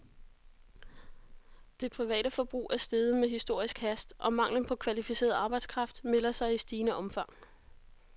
Det private forbrug er steget med historisk hast, og manglen på kvalificeret arbejdskraft melder sig i stigende omfang.